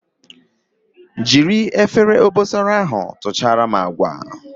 Jiri Efere obosara ahu tuchara m agwa